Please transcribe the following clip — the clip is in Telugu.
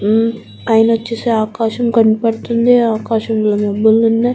ఉమ్ పైన వచ్చేసి ఆకాశం కనబడుతుంది ఆకాశంలో మబ్బులు ఉన్నాయి.